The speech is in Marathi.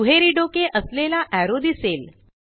दुहेरी डोके असलेला एरो दिसेल